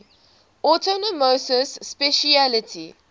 autonomous specialty